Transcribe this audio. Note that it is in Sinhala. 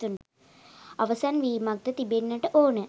අවසන් වීමක් ද තිබෙන්නට ඕන.